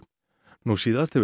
nú síðast hefur